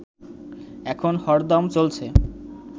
এখন হরদম চলছে